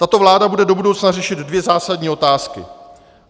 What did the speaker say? Tato vláda bude do budoucna řešit dvě zásadní otázky.